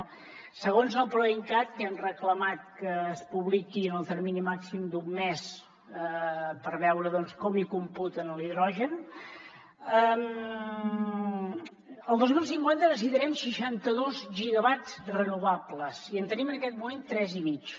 no segons el proincat que hem reclamat que es publiqui en el termini màxim d’un mes per veure doncs com hi computen l’hidrogen el dos mil cinquanta necessitarem seixanta dos gigawatts renovables i en tenim en aquest moment tres i mig